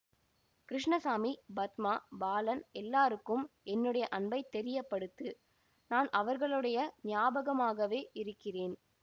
கிருஷ்ணசாமி பத்மா பாலன் எல்லாருக்கும் என்னுடைய அன்பை தெரியப்படுத்து நான் அவர்களுடைய ஞாபகமாகவே இருக்கிறேன்